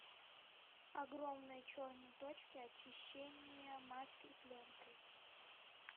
огромные черные точки очищение маской пленкой